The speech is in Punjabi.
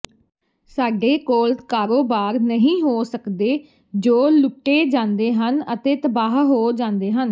ਸਾਡੇ ਕੋਲ ਕਾਰੋਬਾਰ ਨਹੀਂ ਹੋ ਸਕਦੇ ਜੋ ਲੁੱਟੇ ਜਾਂਦੇ ਹਨ ਅਤੇ ਤਬਾਹ ਹੋ ਜਾਂਦੇ ਹਨ